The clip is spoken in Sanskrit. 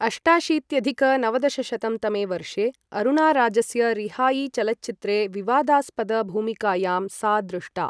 अष्टाशीत्यधिक नवदशशतं तमे वर्षे अरुणाराजस्य रिहाई चलच्चित्रे विवादास्पद भूमिकायां सा दृष्टा ।